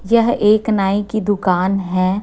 यह एक नाई की दुकान है।